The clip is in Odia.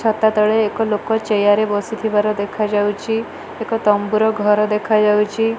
ଛାତ ତଳେ ଏକ ଲୋକ ଚେୟାର ରେ ବସି ଥିବାର ଦେଖା ଯାଉଛି ଏକ ତମ୍ବୁର ଘର ଦେଖା ଯାଉଛି।